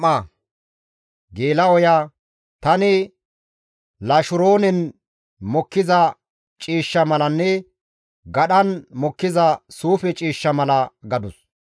«Tani Lasharoonen mokkiza ciishsha malanne gadhan mokkiza suufe ciishsha mala» gadus.